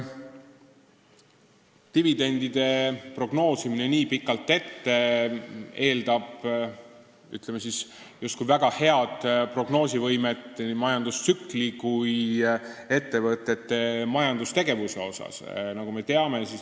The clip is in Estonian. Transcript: Dividendide prognoosimine nii pikalt ette eeldab justkui väga head nii majandustsükli kui ka ettevõtete majandustegevuse prognoosimise võimet.